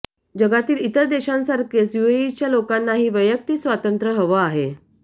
जगातील इतर देशांसारखेच युएईच्या लोकांनाही वैयक्तिक स्वातंत्र्य हवं आहे